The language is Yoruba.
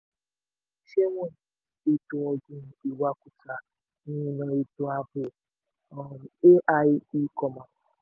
àwọn iléeṣẹ́ wọ̀nyí: ètò-ọ̀gbìn ìwakùsà ìrìnà ètò ààbò um ai e-commerce